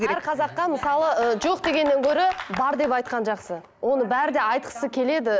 әр қазаққа мысалы ыыы жоқ дегеннен гөрі бар деп айтқан жақсы оны бәрі де айтқысы келеді